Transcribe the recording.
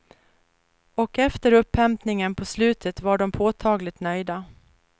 Och efter upphämtningen på slutet var de påtagligt nöjda.